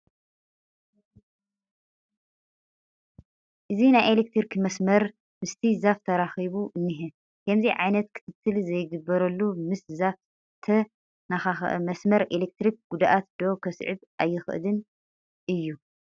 እዚ ናይ ኤለክትሪክ መስመር ምስቲ ዛፍ ተራኺቡ እኒሀ፡፡ ከምዚ ዓይነት ክትትል ዘይግበረሉ ምስ ዛፍ ዝተነካኽአ መስመር ኤለክትሪክ ጉድኣት ዶ ከስዕብ ኣይኽእልን እዩ?